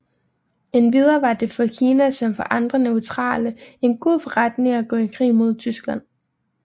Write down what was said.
Endvidere var det for Kina som for andre neutrale en god forretning at gå i krig mod Tyskland